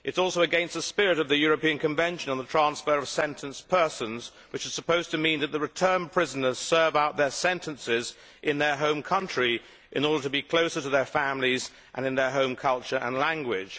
It is also against the spirit of the European Convention on the Transfer of Sentenced Persons, which is supposed to mean that returned prisoners serve out their sentences in their home country in order to be closer to their families and in their home culture and language.